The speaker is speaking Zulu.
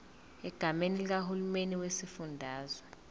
egameni likahulumeni wesifundazwe